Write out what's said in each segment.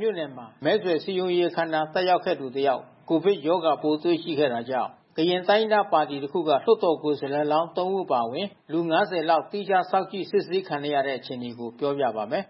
မြို့နယ်မှာ မဲဆွယ်စည်းရုံးရေး အခမ်းအနား တက်ရောက်သူ တယောက် ကိုဗစ်ရောဂါပိုးတွေ့ရှိခဲ့တာကြောင့် ကရင်တိုင်းရင်းသား ပါတီတခုက လွှတ်တော်ကိုယ်စားလှယ်လောင်း သုံး ဦး အပါအဝင် လူ ၅၀ လောက် သီးခြားစောင့်ကြည့် စစ်ဆေးခံနေရတဲ့ အခြေအနေကို ပြောပြပါမယ်။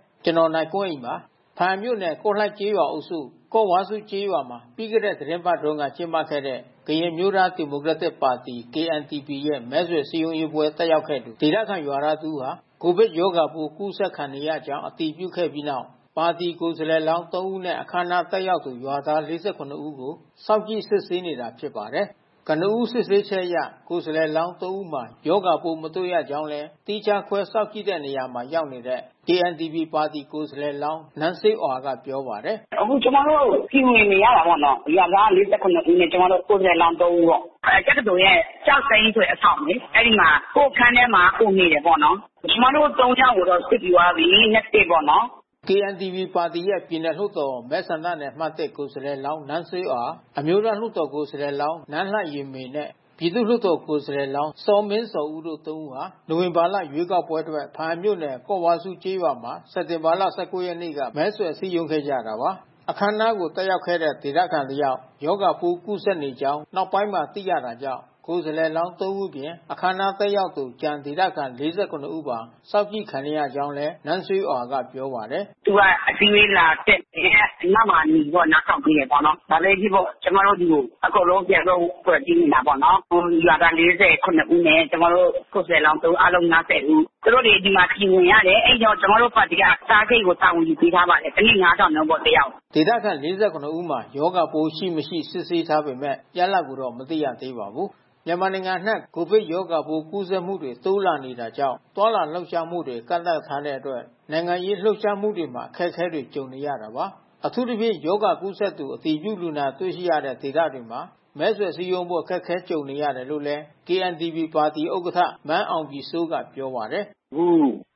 ဘားအံမြို့နယ် ကော့လိုက်ကျေးရွာအုပ်စု၊ ကော့ဝါးဆူးကျေးရွာမှာ ပြီးခဲ့တဲ့ သီတင်းပတ်ကုန်က ကျင်းပတဲ့ ကရင်အမျိုးသား ဒီမိုကရက်တစ်ပါတီ KNDP ရဲ့ မဲဆွယ်စည်းရုံးရေးပွဲ တက်ရောက်ခဲ့သူ ဒေသခံရွာသားတဦးဟာ ကိုဗစ်ရောဂါပိုး ကူးစက်ခံနေရကြောင်း အတည်ပြုခဲ့ပြီးနောက် ပါတီကိုယ်စားလှယ်လောင်း ၃ ဦးနဲ့ အခမ်းအနားတက်ရောက်သူ ရွာသား ၄၇ ဦးကို စောင့်ကြည့်စစ်ဆေးနေတာ ဖြစ်ပါတယ်။ ကနဦး စစ်ဆေးချက်အရ ကိုယ်စားလှယ်လောင်း ၃ ဦးမှာ ရောဂါပိုးမတွေ့ရကြောင်းလည်း သီးခြားခွဲစောင့်ကြည့်တဲ့နေရာမှာ ရောက်နေတဲ့ KNDP ပါတီ ကိုယ်စားလှယ်လောင်း နန်းစေးအွာကပြောပါတယ်။ “အခုကျမတို့ Q ဝင်နေရတာပေါ့နော်။ ရွာသား ၄၇ ဦးနဲ့ ကျမတို့ ကိုယ်စားလှယ်လောင်း သုံး ဦးပေါ့။ ဖားအံတက္ကသိုလ်ရဲ့ကျောက်စိမ်းဆိုတဲ့အဆောင်လေ။ အဲဒီမှာ ကိုယ့်အခန်းထဲမှာ ကိုယ်နေတာပေါ့နော်။ ကျမတို့ သုံး ယောက်ကို စစ်ပြီးသွားပြီ။ negative ပေါ့နော်။” KNDP ပါတီရဲ့ ပြည်နယ် လွှတ်တော် မဲဆန္ဒနယ်အမှတ် ၁ ကိုယ်စားလှယ်လောင်း နန်းစေးအွာ၊ အမျိုးသားလွှတ်တော် ကိုယ်စားလှယ်လောင်း နန်းလှယှဉ်မေနဲ့ ပြည်သူ့လွှတ်တော်ကိုယ်စားလှယ်လောင်း စောမင်းဇော်ဦးတို့ ၃ ဦးဟာ နိုဝင်ဘာလ ရွေးကောက်ပွဲအတွက် ဘားအံမြို့နယ် ကော့ဝါးဆူးကျေးရွာမှာ စက်တင်ဘာလ ၁၉ ရက်နေ့က မဲဆွယ်စည်းရုံးခဲ့ကြတာပါ။ အခမ်းအနားကို တက်ရောက်ခဲ့တဲ့ ဒေသခံတယောက် ရောဂါပိုးကူးစက်နေကြောင်း နောက်ပိုင်းမှာ သိရတာကြောင့် ကိုယ်စားလှယ် ၃ ဦးအပြင် အခမ်းအနား တက်ရောက်သူ ကျန်ဒေသခံ ၄၇ ဦးပါ စောင့်ကြည့် ခံနေရကြောင်းလည်း နန်းစေးအွာက ပြောပါတယ်။ “သူက အစည်းဝေးလာတက်တယ်။ အနောက်မှာနေပြီး နားထောင်ပေးတယ်ပေါ့နော်။ ဘာပဲဖြစ်ဖြစ်ပေါ့။ ကျမတို့ ဒီကို အကုန်လုံးပြန်ပြီး Quarantine ဝင်တာပေါ့နော်။ ဟိုရွာခံ ၄၇ ဦးနဲ့က ကျမတို့ ကိုယ်စားလှယ်လောင်း ၃ ဦး အားလုံး ၅၀ ဦး။ သူတို့တွေဒီမှာ Q ဝင်ရတယ်။ အဲဒီတော့ ကျမတို့ ပါတီက စားစရိတ်ကို တာဝန်ယူပေးထားပါတယ်။ တနေ့ ၅,၀၀၀ နှုန်းပေါ့ တယာက်ကို။” ဒေသခံ ၄၇ ဦးမှာ ရောဂါပိုးရှိ၊ မရှိ စစ်ဆေးထားပေမဲ့ ရလဒ်ကိုတော့ မသိရသေးပါဘူး။ မြန်မာနိုင်ငံအနှံ့ ကိုဗစ်ရောဂါပိုး ကူးစက်မှုတွေ တိုးလာနေတာကြောင့် သွားလာလှုပ်ရှားမှုတွေ ကန့်သတ်ထားတဲ့အတွက် နိုင်ငံရေးလှုပ်ရှားမှုတွေမှာ အခက်အခဲတွေ ကြုံနေရတာပါ။ အထူးသဖြင့် ရောဂါကူးစက်သူ အတည်ပြုလူနာတွေ့ရှိတဲ့ ဒေသတွေမှာ မဲဆွယ်စည်းရုံးဖို့ အခက်အခဲ ကြုံနေရတယ်လို့လည်း KNDP ဥက္ကဋ္ဌ မန်းအောင်ပြည်စိုးကပြောပါတယ်။ “အခု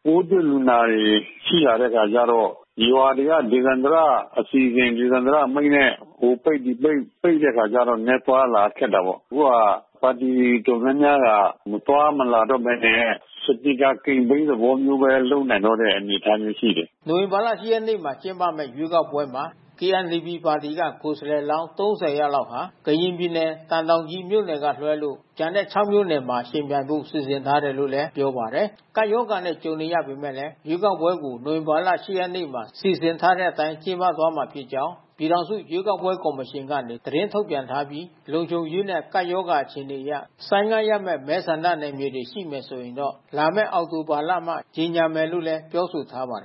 ပိုးတွေ့လူနာတွေ ရှိလာတဲ့အခါကျတော့ ရွာတွေက ဒေသန္တရအစီအစဉ်၊ ဒေသန္တရအမိန့်နဲ့ ဟိုပိတ်၊ ဒီပိတ် ပိတ်တဲ့ အခါကျတော့ နည်းနည်းသွားရ၊ လာရခက်တာပေါ့။ အခုက ပါတီတော်တာ်များများက မသွားမလာတော့ဘဲနဲ့ စပီကာကမ်ပိန်း သဘောမျိုးပဲ လုပ်နိုင်တော့တဲ့အနေထားမျိုး ရှိတယ်။” နိုဝင်ဘာလ ၈ ရက်နေ့ ကျင်းပမယ့် ရွေးကောက်ပွဲမှာ KNDP ပါတီက ကိုယ်စားလှယ်လောင်း ၃၀ လောက်ဟာ ကရင်ပြည်နယ်မှာ သံတောင်ကြီး မြို့နယ်ကလွဲလို့ ကျန် ၆ မြို့နယ်မှာ ယှဉ်ပြိုင်ဖို့ စီစဉ်ထားတယ်လို့လည်း ပြောပါတယ်။ ကပ်ရောဂါနဲ့ ကြုံနေရပေမဲ့ ရွေးကောက်ပွဲတွေကို နိုဝင်ဘာလ ၈ ရက်နေ့မှာ စီစဉ်ထားတဲ့အတိုင်း ကျင်းပသွားမှာ ဖြစ်ကြောင်း ပြည်ထောင်စု ရွေးကောက်ပွဲ ကော်မရှင်က သတင်းထုတ်ပြန်ထားပြီး၊ လုံခြုံရေးနဲ့ ကပ်ရောဂါ အခြေအနေအရ ဆိုင်းငံ့ရမယ့် မဲဆန္ဒနယ်မြေတွေ ရှိမယ်ဆိုရင်တော့ လာမယ့် အောက်တိုဘာလမှ ကြေညာမယ်လို့လည်း ပြောဆိုထားပါတယ်